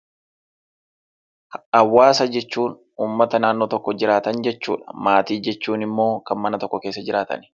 Hawaasa jechuun uummata naannoo tokko jiraatan jechuudha. Maatii jechuun immoo kan mana tokko keessa jiraatan.